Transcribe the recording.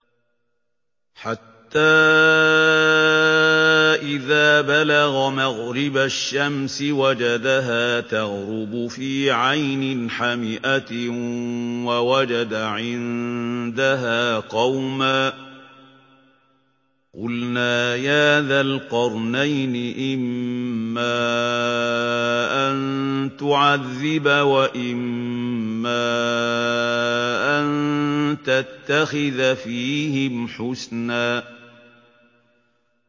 حَتَّىٰ إِذَا بَلَغَ مَغْرِبَ الشَّمْسِ وَجَدَهَا تَغْرُبُ فِي عَيْنٍ حَمِئَةٍ وَوَجَدَ عِندَهَا قَوْمًا ۗ قُلْنَا يَا ذَا الْقَرْنَيْنِ إِمَّا أَن تُعَذِّبَ وَإِمَّا أَن تَتَّخِذَ فِيهِمْ حُسْنًا